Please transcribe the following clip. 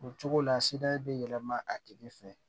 O cogo la sida bɛ yɛlɛma a tigi fɛ